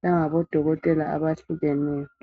langabodokotela abahlukeneyo.